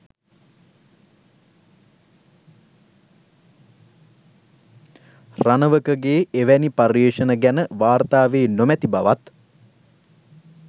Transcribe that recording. රණවකගේ එවැනි පර්යේෂණ ගැන වාර්තා වී නොමැති බවත්